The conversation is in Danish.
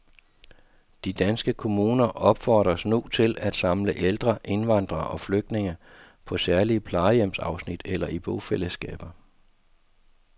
De danske kommuner opfordres nu til at samle ældre indvandrere og flygtninge på særlige plejehjemsafsnit eller i bofællesskaber.